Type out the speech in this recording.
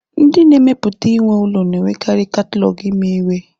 Ndị na-emepụta ime ụlọ na-enwekarị katalọgụ imewe.